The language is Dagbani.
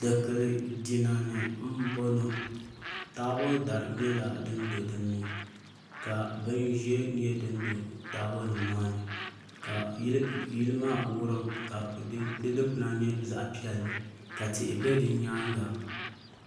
Dikili jina ni n bɔŋɔ taabo dari nyɛla din do dinni ka bin ʒiɛ nyɛ din do taabo nim maa ni ka yili maa wurim ka di dikpuna nyɛ zaɣ piɛlli ka tihi bɛ di nyaanga